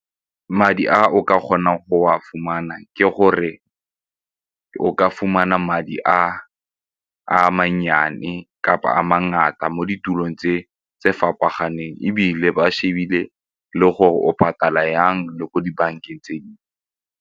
Madi a o ka kgonang go a fumana ke gore ka fumana madi a a mannyane kapa a mangata mo ditulong tse fapaganeng ebile ba shebile le gore o patala jang le ko dibankeng tse dingwe.